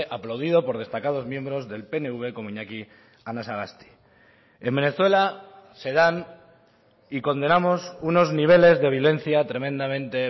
aplaudido por destacados miembros del pnv como iñaki anasagasti en venezuela se dan y condenamos unos niveles de violencia tremendamente